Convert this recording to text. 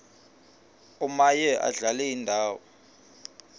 omaye adlale indawo